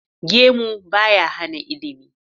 Gemu ba ya hana ilimi.